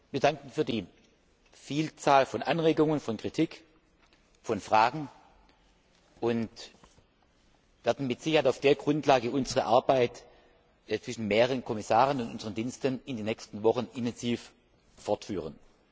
Wir danken für die Vielzahl von Anregungen, von Kritik, von Fragen und werden mit Sicherheit auf dieser Grundlage unsere Arbeit zwischen mehreren Kommissaren und unseren Diensten in den nächsten Wochen intensiv fortführen.